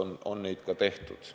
Ja neid otsuseid on ka tehtud.